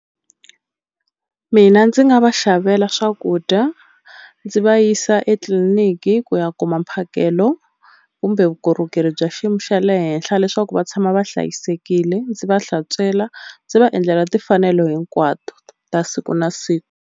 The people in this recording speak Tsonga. Mina ndzi nga va xavela swakudya ndzi va yisa etliliniki ku ya kuma mphakelo kumbe vukorhokeri bya xiyimo xa le henhla leswaku va tshama va hlayisekile ndzi va hlantswela ndzi va endlela timfanelo hinkwato ta siku na siku.